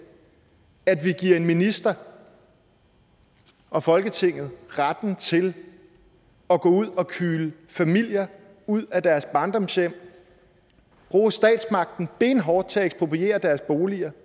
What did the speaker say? giver ministeren og folketinget retten til at gå ud og kyle familier ud af deres barndomshjem bruge statsmagten benhårdt til at ekspropriere deres boliger